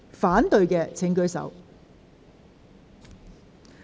反對的請舉手。